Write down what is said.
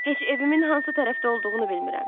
Heç evimin hansı tərəfdə olduğunu bilmirəm.